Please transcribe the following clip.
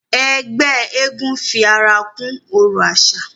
Ẹgbẹ́ eégún fi ara kún ọrọ̀ àṣà